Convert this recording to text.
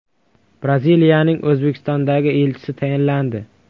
Braziliyaning O‘zbekistondagi elchisi tayinlandi.